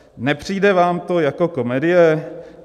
Nepřijde vám to jako komedie?